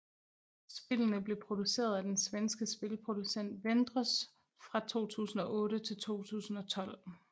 Spillene blev produceret af den svenske spilproducent Wendros fra 2008 til 2012